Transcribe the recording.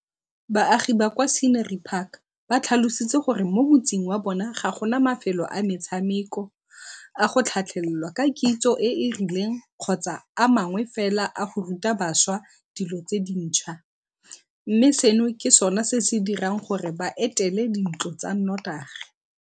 Baagi ba kwa Scenery Park ba tlhalositse gore mo motseng wa bona ga go na mafelo a metshameko, a go tlhatlhelelwa ka kitso e e rileng kgotsa a mangwe fela a go ruta bašwa dilo tse dintšhwa, mme seno ke sona se se dirang gore ba etele dintlo tsa notagi.